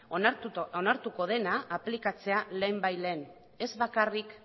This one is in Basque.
onartuko dena aplikatzea lehenbailehen ez bakarrik